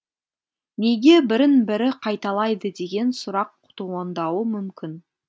неге бірін бірі қайталайды деген сұрақ туындауы мүмкін